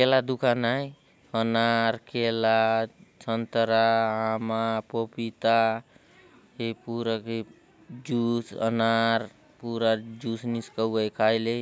ये केला दुकान आय अनार केला संतरा आमा पोपिता ए पूरा गे जूस अनार पूरा जूस निष्कावाय कायले।